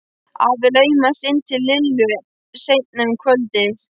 Afi laumaðist inn til Lillu seinna um kvöldið.